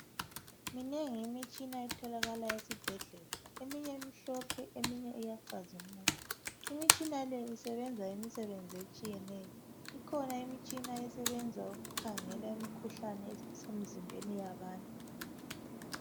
Minengi imitshina etholakala esibhedlela eminye imhlophe eminye iyacazimula. Imitshina le isebenza imisebenzi etshiyeneyo ikhona Imitshina esebenza ukukhangela imikhuhlane esemzimbeni yabantu.